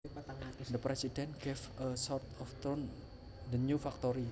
The president gave a short tour around the new factory